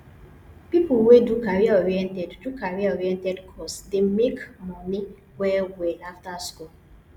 pipo wey do careeroriented do careeroriented course dey make moni wellwell after school